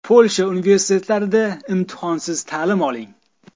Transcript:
Polsha universitetlarida imtihonsiz ta’lim oling!.